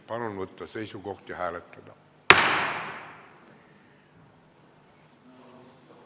Palun võtta seisukoht ja hääletada!